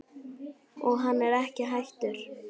Og hann er ekki hættur.